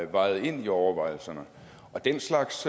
vejede ind i overvejelserne og den slags